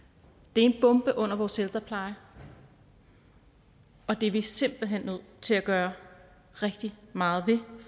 det er en bombe under vores ældrepleje og det er vi simpelt hen nødt til at gøre rigtig meget ved vi